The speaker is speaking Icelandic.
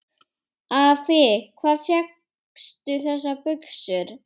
Afi, hvar fékkstu þessar buxur?